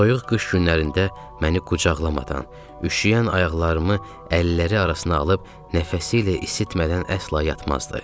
Soyuq qış günlərində məni qucaqlamadan, üşüyən ayaqlarımı əlləri arasına alıb nəfəsi ilə isitmədən əsla yatmazdı.